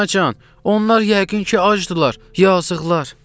Anacan, onlar yəqin ki, acdırlar, yazıqlar!